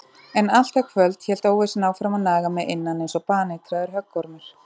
En allt það kvöld hélt óvissan áfram að naga mig innan einsog baneitraður höggormur.